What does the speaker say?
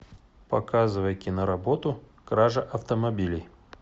показывай киноработу кража автомобилей